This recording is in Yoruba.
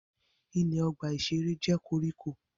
Ilẹ̀ ọgbà-ìṣeré jẹ́ koríko